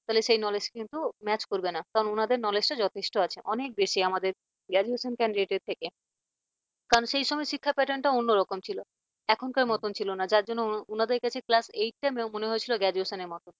তাহলে সেই knowledge কিন্তু match করবে না কারণ ওনাদের knowledge যথেষ্ট আছে। অনেক বেশি আমাদের graduation candidate থেকে। কারণ সেই সময় শিক্ষার pattern টা অন্যরকম ছিল। এখনকার মতন ছিল না। যার জন্য ওনাদের কাছে class eight টা মনে হয়েছিল graduation এর মত।